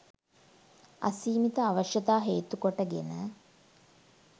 අසීමිත අවශ්‍යතා හේතු කොට ගෙන